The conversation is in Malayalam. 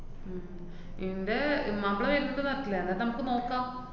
ഇന്‍റെ മാപ്ല വരണുണ്ടോ നാട്ടില്, എന്നിട്ട് നമക്ക് നോക്കാം.